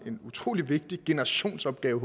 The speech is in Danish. en utrolig vigtig generationsopgave